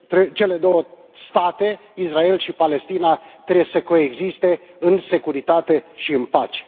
cele două state, Israel și Palestina, trebuie să coexiste în securitate și în pace.